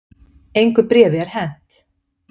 Engu bréfi er hent